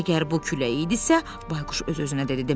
Əgər bu külək idisə, Bayquş öz-özünə dedi.